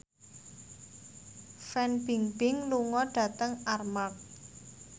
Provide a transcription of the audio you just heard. Fan Bingbing lunga dhateng Armargh